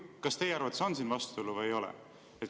Kas teie arvates on siin vastuolu või ei ole?